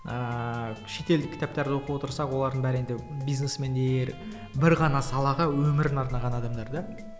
ааа шетелдік кітаптарды оқып отырсақ олардың бәрі енді бизнесмендер бір ғана салаға өмірін арнаған адамдар да